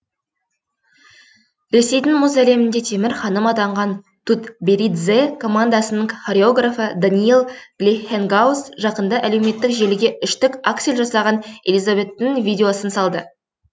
ресейдің мұз әлемінде темір ханым атанған тутберидзе командасының хореографы даниил глейхенгауз жақында әлеуметтік желіге үштік аксель жасаған элизабеттің видеосын салды